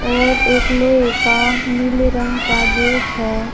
और एक लोहे का नीले रंग का गेट है।